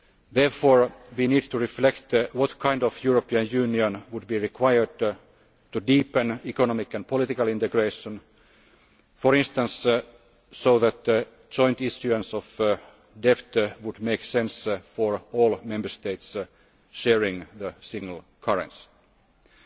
direction. Therefore, we need to reflect on what kind of European Union would be required to deepen economic and political integration for instance, so that joint issuance of debt would make sense for all Member States sharing the single currency. Last